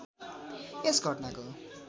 यस घटनाको